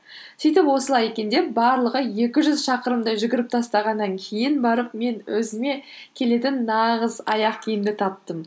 сөйтіп осылай екен деп барлығы екі жүз шақырымдай жүгіріп тастағаннан кейін барып мен өзіме келетін нағыз аяқ киімді таптым